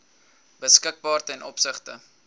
beskikbaar ten opsigte